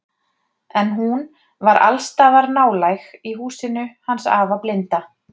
En hún var alls staðar nálæg í húsinu hans afa blinda.